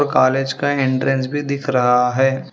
College का entrance भी दिख रहा है।